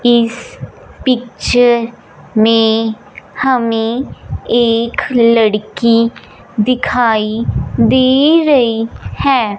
इस पिक्चर में हमें एक लड़की दिखाई दे रही है।